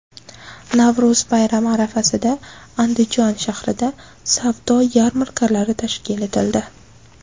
Navro‘z bayrami arafasida Andijon shahrida savdo yarmarkalari tashkil etildi.